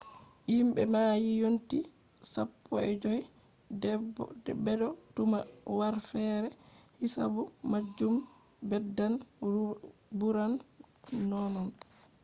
himbe be mayi yonti 15 bedo tuma harfeere hisabu majum beddan buran nonnon